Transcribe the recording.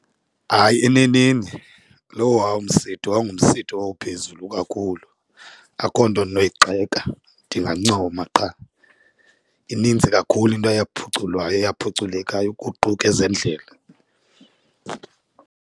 Hayi, eneneni lowa umsitho yayingomsitho owawuphezulu kakhulu akho nto endinoyigxeka ndingancoma qha. Inintsi kakhulu into eyaphuculwayo eyaphuculekayo ukuquka ezendlela.